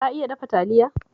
Ka iya dafa Taliya?